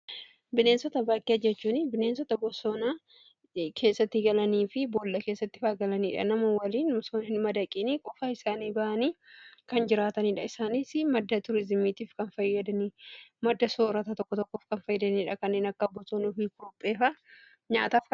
Bineensota bakee jechuun bineensota bosoonaa keessatti galanii fi boolla keessattifaa galaniidha. Nama waliin osoon hin madaqiinii qofa isaanii ba'anii kan jiraataniidha. Isaaniis madda tuuriizimiitiif kan fayyadanii madda soorata tokko tokkof kan fayyadaniidha. Kanneen akka bosoonuufi kurupheefa nyaataf kan oolanidha.